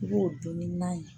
I b'o don ni na ye